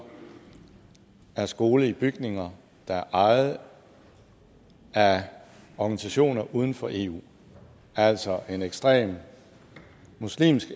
er skole i bygninger der er ejet af organisationer uden for eu altså en ekstrem muslimsk